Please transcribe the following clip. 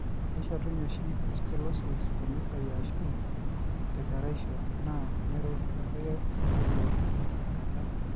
Keshetunye oshi Scoliosis tenutai ashu tekeraisho naa neruoyo elo enkata.